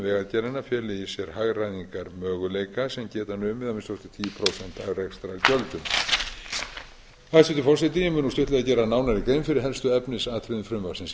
sér hagræðingarmöguleika sem geta numið að minnsta kosti tíu prósent af rekstrargjöldum hæstvirtur forseti ég mun nú stuttlega gera nánari grein fyrir helstu efnisatriðum frumvarpsins í